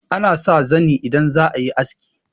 ana sa zani idan za a yi aski